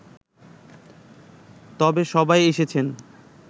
তবে সবাই এসেছে